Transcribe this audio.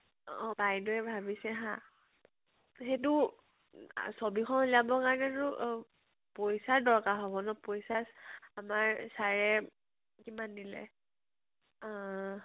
বাইদেউৱে ভাবিছে হা , সেইটো উ ছৱি খন উলিয়াব কাৰণেটো পইছাৰ দৰ্কাৰ হব । আমাৰ sir এ কিমান দিলে আহ